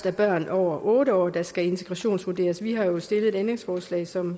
er børn over otte år der skal integrationsvurderes vi har jo stillet et ændringsforslag som